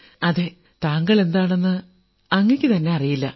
അതെ താങ്കൾ എന്താണെന്ന് അങ്ങയ്ക്കുതന്നെ അറിയില്ല